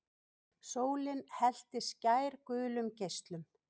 Sólin hellti skærgulum geislum.